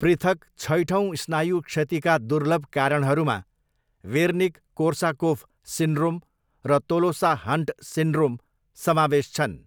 पृथक छैठौँ स्नायु क्षतिका दुर्लभ कारणहरूमा वेर्निक कोर्साकोफ सिन्ड्रोम र तोलोसा हन्ट सिन्ड्रोम समावेश छन्।